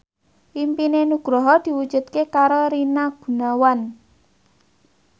impine Nugroho diwujudke karo Rina Gunawan